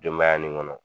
Denbaya nin kɔnɔ